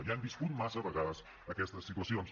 ja hem viscut massa vegades aquestes situacions